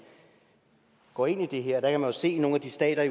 går ind i det her der jo se i nogle af de stater